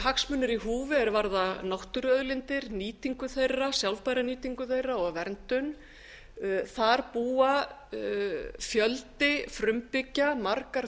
hagsmunir í húfi er varða náttúruauðlindir nýtingu þeirra sjálfbær nýtingu þeirra og verndun það býr fjöldi frumbyggja margar